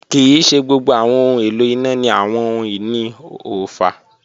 Kii ṣe gbogbo awọn ohun elo ina ni awọn ohun-ini oofa.